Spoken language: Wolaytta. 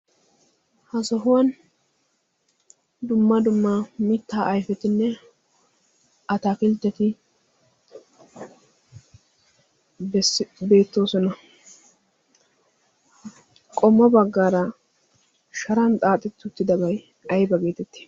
ha sohuwan dumma dumma mittaa ayfetinne ataakiltteti beettoosona qommo baggaara sharan xaaxittuttidabay ay bageetette?